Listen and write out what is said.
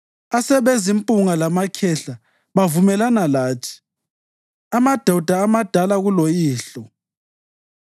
Asebezimpunga lamakhehla bavumelana lathi, amadoda amadala kuloyihlo.